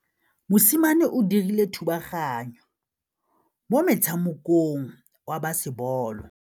Mosimane o dirile thubaganyô mo motshamekong wa basebôlô.